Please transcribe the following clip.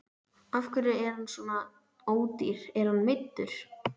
Af hverju er hann svona ódýr, er hann meiddur?